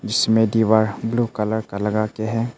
इसमें दीवार blue colour का लगा के है।